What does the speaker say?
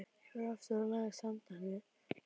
Ég fór aftur og lagðist, handan við þilið.